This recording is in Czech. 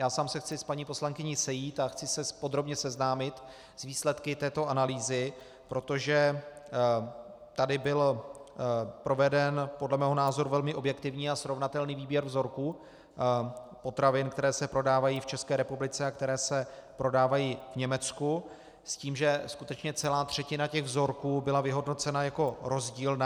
Já sám se chci s paní poslankyní sejít a chci se podrobně seznámit s výsledky této analýzy, protože tady byl proveden podle mého názoru velmi objektivní a srovnatelný výběr vzorků potravin, které se prodávají v České republice a které se prodávají v Německu, s tím, že skutečně celá třetina těch vzorků byla vyhodnocena jako rozdílná.